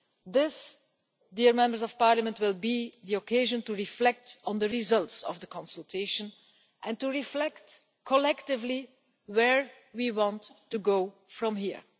This will be the occasion to reflect on the results of the consultation and to reflect, collectively, where we want to go from here.